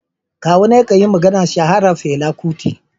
Kawuna ya kan yi maganar shaharar Fela Kuti.